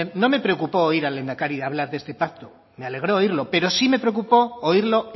no me preocupó oír al lehendakari hablar de esta pacto me alegró oírlo pero sí me preocupo oírlo